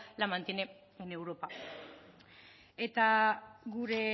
la mantiene en europa eta gure